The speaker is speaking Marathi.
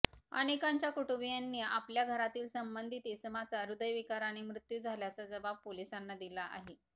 अनेकांच्या कुटुंबीयांनी आपल्या घरातील संबंधित इसमाचा हृदयविकाराने मृत्यू झाल्याचा जबाब पोलिसांना दिला आहे